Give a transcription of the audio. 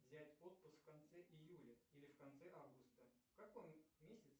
взять отпуск в конце июля или в конце августа в каком месяце